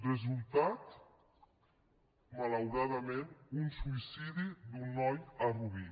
resultat malauradament un suïcidi d’un noi a rubí